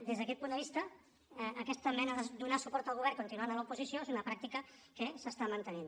des d’aquest punt de vista aquesta mena de donar suport al govern continuant a l’oposició és una pràctica que s’està mantenint